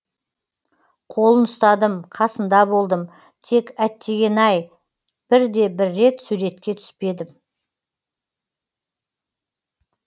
қолын ұстадым қасында болдым тек әттеңген ай бір де бір рет суретке түспедім